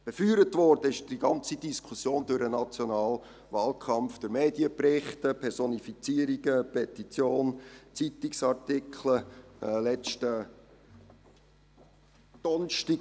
Befeuert worden ist die ganze Diskussion durch den nationalen Wahlkampf, durch Medienberichte, Personifizierungen, Petitionen und Zeitungsartikel, wie demjenigen vom letzten Donnerstag.